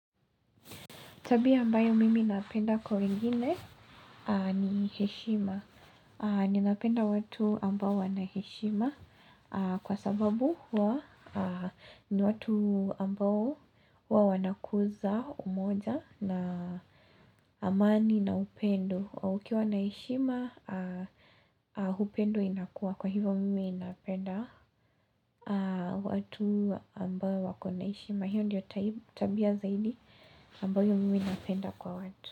Tabia ambayo mimi napenda kwa wengine ni heshima. Ninapenda watu ambao wana heshima kwa sababu huwa ni watu ambao huwa wanakuza umoja na amani na upendo. Ukiwa na heshima, upendo inakua. Kwa hivyo mimi napenda watu ambao wako na heshima. Hiyo ndiyo tabia zaidi ambayo mimi napenda kwa watu.